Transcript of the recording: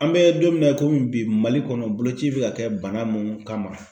An bɛ don min na i komi bi Mali kɔnɔ boloci bɛ ka kɛ bana mun kama.